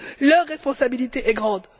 Leur responsabilité est grande.